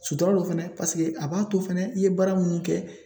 Sutura dɔ fɛnɛ a b'a to fɛnɛ i ye baara minnu kɛ